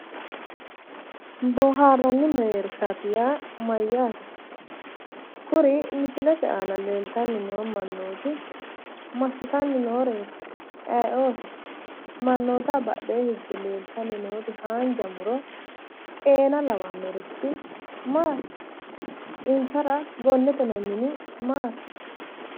Boohaarranni mereersha yaa mayyaate? Kuri misilete aana leeltanni noo mannooti massitanni nooreeti? Ayiooti? Mannootaho badhee higge leeltanni nooti haanja muro xeena lawannorichi maati? Insara gonnete noo mini maati?